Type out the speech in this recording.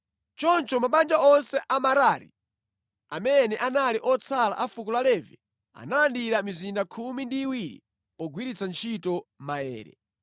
Choncho mabanja onse a Merari, amene anali otsala a fuko la Levi analandira mizinda khumi ndi iwiri pogwiritsa ntchito maere.